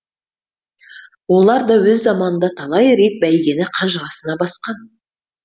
оларда өз заманында талай рет бәйгені қанжығасына басқан